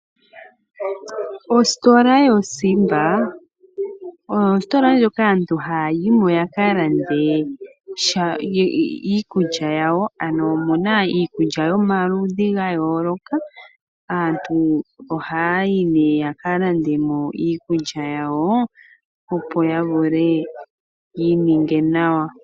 Ositola yo Simba oyo ositola ndjoka aantu haya yi mo yaka lande sha iikulya yawo, ano omuna iikulya yomaludhi ga yooloka. Aantu ohaya yi nee yaka lande iikulya opo ya vule yi ininge nawa.